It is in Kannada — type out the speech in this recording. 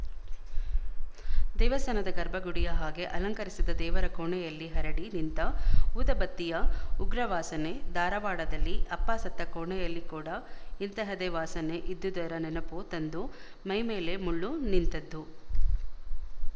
ದೇವಸ್ಥಾನದ ಗರ್ಭಗುಡಿಯ ಹಾಗೆ ಅಲಂಕರಿಸಿದ ದೇವರ ಕೋಣೆಯಲ್ಲಿ ಹರಡಿ ನಿಂತ ಊದಬತ್ತಿಯ ಉಗ್ರವಾಸನೆ ಧಾರವಾಡದಲ್ಲಿ ಅಪ್ಪ ಸತ್ತ ಕೋಣೆಯಲ್ಲಿ ಕೂಡ ಇಂತಹದೇ ವಾಸನೆ ಇದ್ದುದರ ನೆನಪು ತಂದು ಮೈಮೇಲೆ ಮುಳ್ಳು ನಿಂತದ್ದು